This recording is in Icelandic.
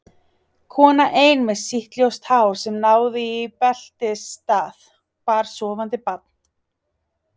Kona ein með sítt ljóst hár sem náði í beltisstað, bar sofandi barn.